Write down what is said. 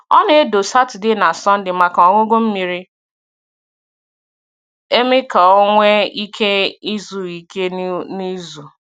Ọ na-edò Saturday na Sunday maka ọmụmụ miri emi ka o nwee ike izu ike n’izu.